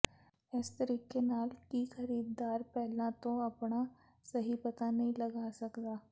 ਇਸ ਤਰੀਕੇ ਨਾਲ ਕਿ ਖਰੀਦਦਾਰ ਪਹਿਲਾਂ ਤੋਂ ਆਪਣਾ ਸਹੀ ਪਤਾ ਨਹੀਂ ਲੱਭ ਸਕਦੇ